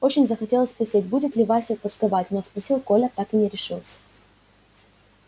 очень захотелось спросить будет ли валя тосковать но спросить коля так и не решился